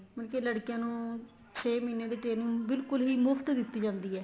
ਮਤਲਬ ਕੀ ਲੜਕੀਆਂ ਨੂੰ ਛੇ ਮਹੀਨੇ ਦੀ training ਬਿਲਕੁਲ ਹੀ ਮੁਫ਼ਤ ਦਿੱਤੀ ਜਾਂਦੀ ਏ